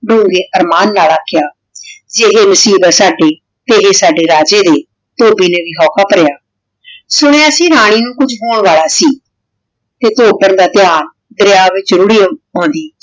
ਦੋਵੇਂ ਫ਼ਰਮਾਨ ਲਾ ਰਖ੍ਯਾ ਏਹੀ ਨਸੀਬ ਆਯ ਸਾਡੀ ਇਹੀ ਸਾਡੇ ਰਾਜੇ ਦੀ ਧੋਭੀ ਨੇ ਵੀ ਹੂਕ ਭਾਰਯ ਸੁਨ੍ਯ ਸੀ ਰਾਨੀ ਨੂ ਵੀ ਕੁਜ ਹੋਣ ਵਾਲਾ ਸੀ ਤੇ ਧੋਬਨ ਦਾ ਧਯਾਨ ਦਰਯਾ ਵਿਚ ਰੂਰੀ ਆਉਂਦੀ